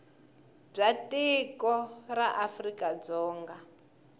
bya tiko ra afrika dzonga